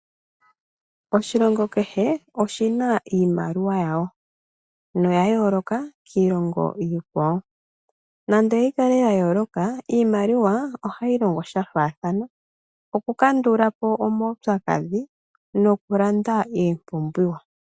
Oshilongo kehe oshi na iimaliwa yawo noya yooloka kiilongo iikwawo nando oya yooloka ohayi longo shafaathana okukandulapo omaupyakadhi nokulanda iipumbiwa.